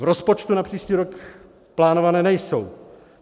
V rozpočtu na příští rok plánované nejsou.